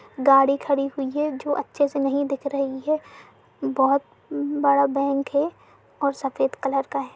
गाड़ी खड़ी हुई है जो अच्छे से नहीं दिख रही है। बोहोत बड़ा बैंक है और सफ़ेद कलर का है।